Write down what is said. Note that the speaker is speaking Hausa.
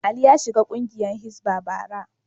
Ali ya shiga kungiyar Hisbah, bara.